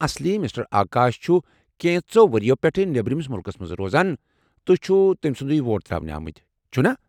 اصلی مسٹر آکاش چُھ کینٛژو ؤرِیو پیٹھہٕ نیبرِمِس مُلكس منٛز روزان، تُہۍ چِھو تٔمۍ سُندوٕے ووٹ ترٛاونہِ آمٕتۍ ، چُھنا؟